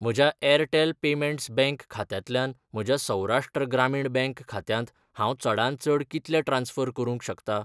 म्हज्या Airtel payments bank खात्यांतल्यान म्हज्या सौराष्ट्र ग्रामीण बँक खात्यांत हांव चडांत चड कितले ट्रान्स्फर करूंक शकता?